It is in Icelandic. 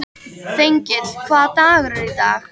Þengill, hvaða dagur er í dag?